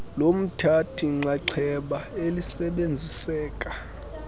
lomthathi nxxaxheba elisebenziseka